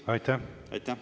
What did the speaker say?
Aitäh!